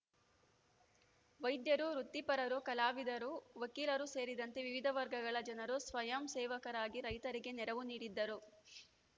ವೈದ್ಯರು ವೃತ್ತಿಪರರು ಕಲಾವಿದರು ವಕೀಲರು ಸೇರಿದಂತೆ ವಿವಿಧ ವರ್ಗಗಳ ಜನರು ಸ್ವಯಂ ಸೇವಕರಾಗಿ ರೈತರಿಗೆ ನೆರವು ನೀಡಿದ್ದರು